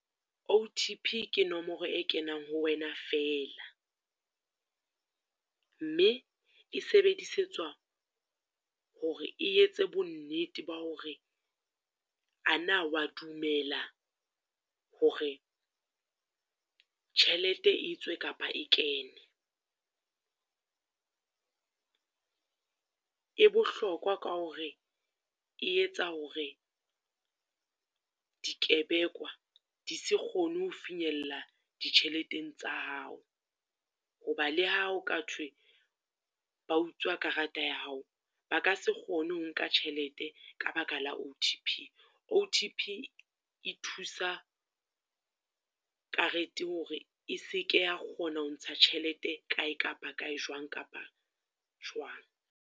O_T_P ke nomoro e kenang ho wena fela, mme e sebedisetswa hore e etse bonnete ba hore, ana o wa dumela hore tjhelete etswe kapa e kene. E bohlokwa ka hore e etsa hore dikebekwa di se kgone ho finyella ditjhelete tsa hao. Ho ba le hao ka thwe ba utswa karata ya hao ba ka se kgone ho nka tjhelete, ka baka la O_T_P. O_T_P e thusa karete hore e se ke ya kgona ho ntsha tjhelete kae kapa kae, jwang kapa jwang.